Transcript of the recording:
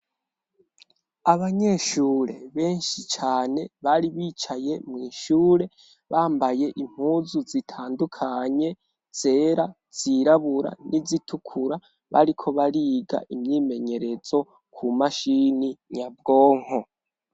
Abanyeshure benshi cane, bari bicaye mw'ishure bambaye impuzu zitandukanye, zera, zirabura, n'izitukura bariko bariga imyimenyerezo ku mashini nyabwonko.